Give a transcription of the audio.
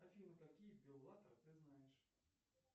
афина какие беллатор ты знаешь